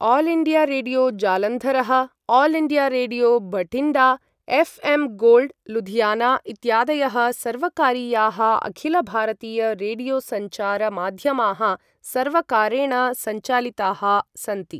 All India Radio जालन्धरः, All India Radio Bathinda, FM Gold Ludhiana इत्यादयः सर्वकारीयाः अखिल भारतीय रेडियो सञ्चार माध्यमाः, सर्वकारेण सञ्चालिताः सन्ति।